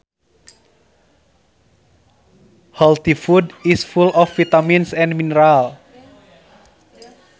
Healthy food is full of vitamins and minerals